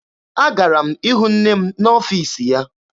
Agara m ịhụ nne m n'ọfiisi ya.